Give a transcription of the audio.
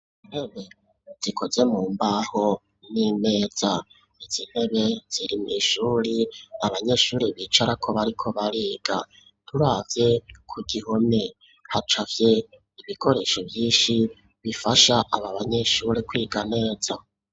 Intebe zikoze mu mbaho n'imeza, izi ntebe ziri mw'ishuri abanyeshuri bicarako bariko bariga, turavye ku gihome hacafye ibikoresho vyinshi bifasha aba banyeshuri kwiga neza.